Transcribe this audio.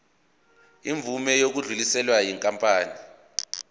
imvume yokudluliselwa yinkampani